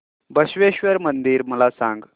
बसवेश्वर मंदिर मला सांग